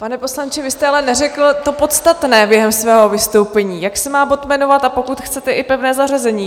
Pane poslanče, vy jste ale neřekl to podstatné během svého vystoupení - jak se má bod jmenovat, a pokud chcete i pevné zařazení.